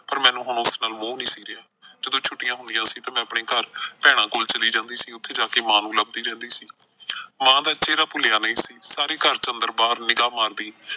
ਪਰ ਮੈਨੂੰ ਹੁਣ ਉਸ ਨਾਲ ਮੋਹ ਨਈਂ ਸੀ ਰਿਹਾ ਸੀ, ਜਦੋਂ ਛੁੱਟੀਆਂ ਹੁੰਦੀਆਂ ਸੀ ਤਾਂ ਮੈਂ ਆਪਣੇ ਘਰ ਭੈਣਾਂ ਕੋਲ ਜਾਂਦੀ ਸੀ ਉੱਥੇ ਜਾ ਕੇ ਮਾਂ ਨੂੰ ਲੱਭਦੀ ਰਹਿੰਦੀ ਸੀ। ਮਾਂ ਦਾ ਇੱਥੇ ਦਾ ਭੁੱਲਿਆ ਨਈਂ ਸੀ, ਸਾਰੇ ਘਰ ਚ ਅੰਦਰ ਬਾਹਰ ਨਿਗ੍ਹਾ ਮਾਰਦੀ।